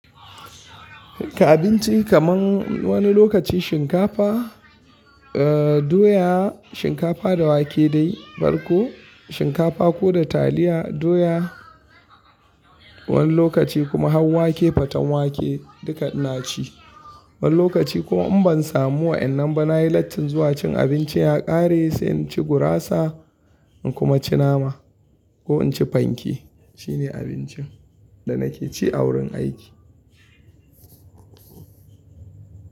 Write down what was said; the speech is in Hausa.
Abinci kaman wani lokaci shinkafa, eh doya, shinkafa da wake dai farko, shinkafa ko da taliya doya, wani lokaci kuma hau wake faten wake duka ina ci. Wani lokaci kuma in ban samu wa'yannan ba nayi lattin zuwa cin abinci ya ƙare sai in ci gurasa in kuma ci nama ko in ci fanke. Shine abincin da nake ci a wurin aiki.